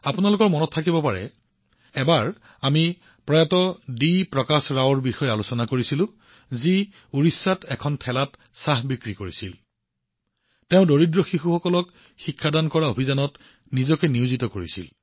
আপোনালোকৰ মনত থাকিব পাৰে এবাৰ আমি ওড়িশাৰ এজন চাহ বিক্ৰেতা স্বৰ্গীয় ডি প্ৰকাশ ৰাওৰ বিষয়ে আলোচনা কৰিছিলো যি দৰিদ্ৰ শিশুসকলক শিক্ষাদানৰ অভিযানত নিয়োজিত আছিল